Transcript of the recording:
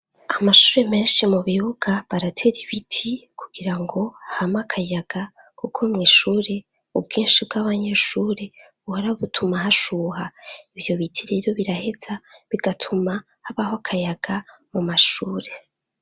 Amashuri menshi mu bibuga baratera ibiti kugira ngo ham' akayaga kuko mw' ishuri ubwinshi bw'abanyeshur, buhora butuma hashuha, ivyo biti rero biraheza bigatuma habah'akayaga mu mashure.